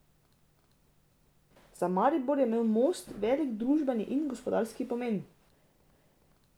Za Maribor je imel most velik družbeni in gospodarski pomen.